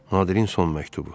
Nadirin son məktubu.